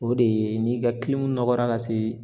O de ye n'i ka nɔgɔra ka se